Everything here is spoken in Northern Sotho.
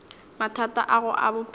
mathata a gago a bophelo